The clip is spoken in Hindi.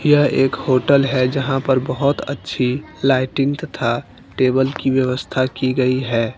यह एक होटल है जहां पर बहोत अच्छी लाइटिंग तथा टेबल की व्यवस्था की गई है।